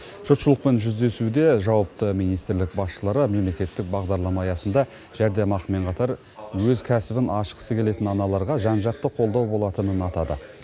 жұртшылықпен кездесуде жауапты министрлік басшылары мемлекеттік бағдарлама аясында жәрдемақымен қатар өз кәсібін ашқысы келетін аналарға жан жақты қолдау болатынын атады